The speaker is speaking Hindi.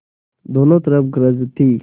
दोनों तरफ गरज थी